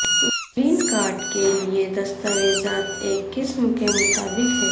green card کے لئے دستاویزات ایک قسم کے مطابق ہیں